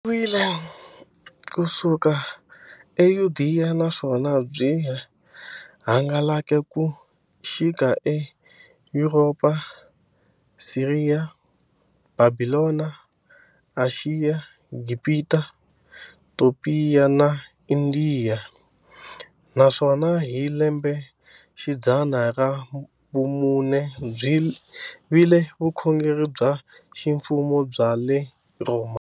Byisimekiwe ku suka eYudeya, naswona byi hangalake ku xika eYuropa, Siriya, Bhabhilona, Ashiya, Gibhita, Topiya na Indiya, naswona hi lembexidzana ra vumune byi vile vukhongeri bya ximfumo bya le Rhoma.